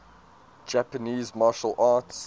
japanese martial arts